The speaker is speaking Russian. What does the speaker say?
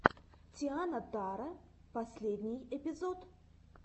тиана таро последний эпизод